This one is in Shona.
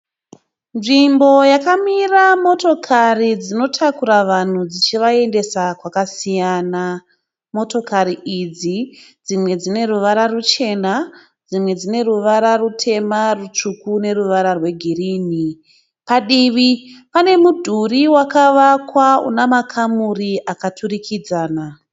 Nzvimbo yakamira motokari dzinotakura vanhu dzichivaendesa kwakasiyana. Motokari idzi dzimwe dzine ruvara ruchena dzimwe dzine ruvara rutema, rutsvuku neruvara rwegirini. Padivi pane mudhuri wakavakwa una makamuri akaturikidzana .